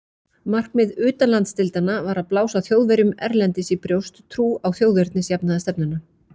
Markmið utanlandsdeildanna var að blása Þjóðverjum erlendis í brjóst trú á þjóðernisjafnaðarstefnuna.